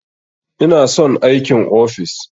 Ina son aikin ofis.